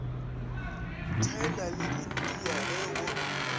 tšhaena le india ge go